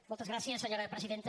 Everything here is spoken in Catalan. moltes gràcies senyora presidenta